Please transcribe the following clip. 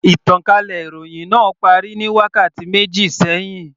Ìtànkálẹ̀ ìròhìn náà parí ní wákàtí méjì sẹ́hìn.